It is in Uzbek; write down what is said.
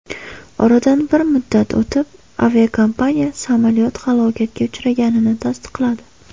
Oradan bir muddat o‘tib, aviakompaniya samolyot halokatga uchraganini tasdiqladi.